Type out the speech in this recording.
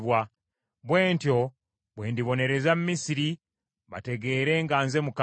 Bwe ntyo bwe ndibonereza Misiri, bategeere nga nze Mukama .’”